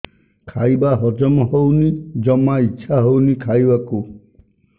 ଖାଇବା ହଜମ ହଉନି ଜମା ଇଛା ହଉନି ଖାଇବାକୁ